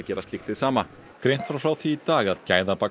gera slíkt hið sama greint var frá því í dag að